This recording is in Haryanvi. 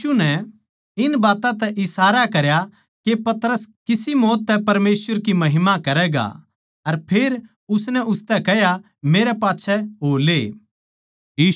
यीशु नै इन बात्तां तै इशारा करया के पतरस किसी मौत तै परमेसवर की महिमा करैगा अर फेर उसनै उसतै कह्या मेरै पाच्छै हो ले